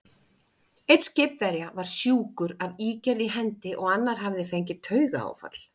Einn skipverja var sjúkur af ígerð í hendi, og annar hafði fengið taugaáfall.